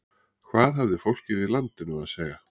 Hvað hafði fólkið í landinu að segja?